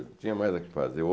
tinha mais o que fazer.